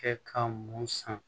Kɛ ka mun san